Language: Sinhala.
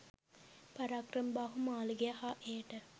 පරාක්‍රමබාහු මාලිගය හා එයට